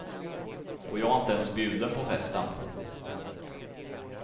Och jag är inte ens bjuden på festen.